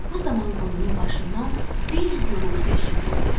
Bu zaman quyunun başından bir gurultu eşidildi.